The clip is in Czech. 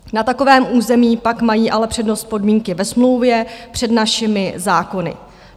Na takovém území pak mají ale přednost podmínky ve smlouvě před našimi zákony.